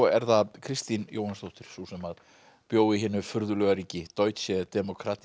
er það Kristín Jóhannsdóttir sú sem bjó í hinu furðulega ríki Deutsche